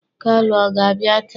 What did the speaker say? Kalu ọ ga-abịa taa?